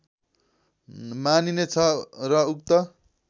मानिने छ र उक्त